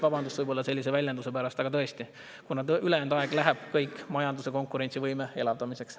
Vabandust sellise väljenduse pärast, aga tõesti, ülejäänud aeg läheb kõik majanduse konkurentsivõime elavdamiseks.